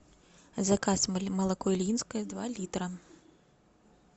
заказ молоко ильинское два литра